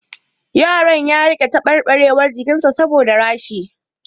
Yaron ya rika tabarbarewar jikin sa saboda rashi